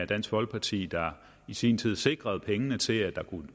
dansk folkeparti der i sin tid sikrede pengene til at der